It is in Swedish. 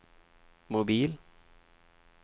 mobil